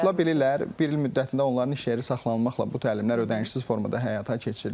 Qoşula bilirlər, bir il müddətində onların iş yeri saxlanılmaqla bu təlimlər ödənişsiz formada həyata keçirilir.